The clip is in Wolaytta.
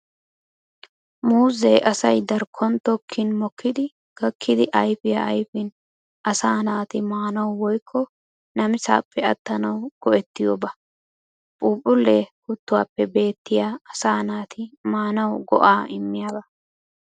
Muuzze asay darkkon tokkin mokkidi gakkidi ayfiyaa ayfin asaa naati maanawu woykko namisaappe attanawu go'ettiyooba. Phuuphulle kuttuwaappe bettiya asaa naati maanawu go'aa immiyaaba.